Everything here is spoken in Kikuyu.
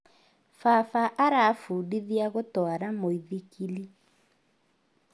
Baba arafundithia gũtwara mũithikilĩ